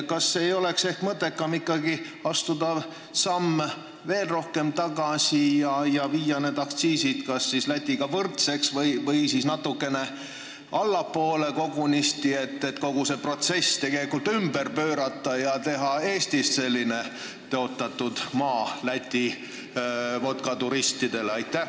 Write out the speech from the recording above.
Kas ei oleks mõttekam astuda veel samm tagasi ja viia need aktsiisid kas Lätiga võrdseks või kogunisti natukene allapoole, st kogu see protsess ümber pöörata ja teha Eestist tõotatud maa Läti vodkaturistidele?